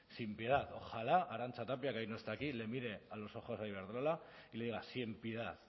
sin piedad ojalá arantza tapia que hoy no está aquí le mire a los ojos a iberdrola y le diga sin piedad